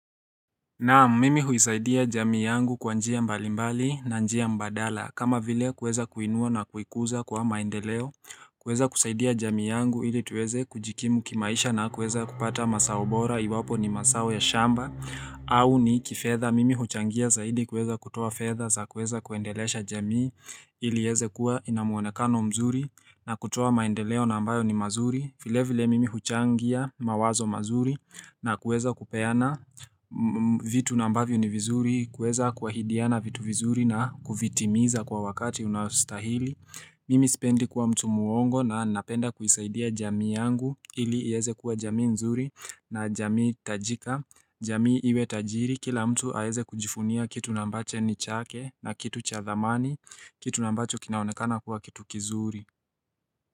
Naam mimi huisaidia jamii yangu kwa njia mbalimbali na njia mbadala kama vile kuweza kuiinua na kuikuza kwa maendeleo kuweza kusaidia jamii yangu ili tuweze kujikimu kimaisha na kuweza kupata mazaobora iwapo ni mazao ya shamba au ni kifedha mimi huchangia zaidi kuweza kutoa fedha za kuweza kuendelesha jamii ili iweze kuwa inamuonekano mzuri na kutoa maendeleo na ambayo ni mazuri vile vile mimi huchangia mawazo mazuri na kuweza kupeana vitu nambavyo ni vizuri kuweza kuhaidiana vitu vizuri na kuvitimiza kwa wakati unaostahili Mimi sipendi kuwa mtu muongo na napenda kuisaidia jamii yangu ili iweze kuwa jamii nzuri na jamii itajika jamii iwe tajiri kila mtu aweze kujivunia kitu na ambacho ni chake na kitu chathamani kitu ambacho kinaonekana kuwa kitu kizuri.